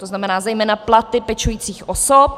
To znamená zejména platy pečujících osob.